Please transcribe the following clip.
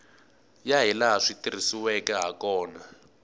ya hilaha swi tirhisiweke hakona